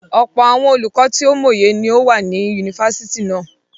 Ọ̀pọ̀ àwọn olùkọ tó mòye ni ó wà ní yunifásítì náà.